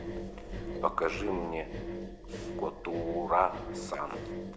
покажи мне котоура сан